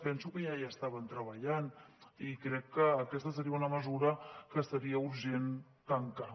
penso que ja hi estaven treballant i crec que aquesta seria una mesura que seria urgent tancar